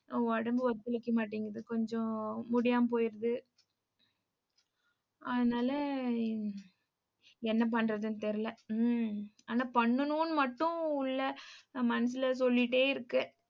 உடம்பு ஒத்துழைக்கமாட்டேங்குது. கொஞ்சம் முடியாமபோயிடுது அதனால என்ன பண்றதுன்னு தெரியலே. உம் ஆனா, பண்ணணும்னு மட்டும் இல்லை நான் மனசுல சொல்லிட்டே இருக்கேன்.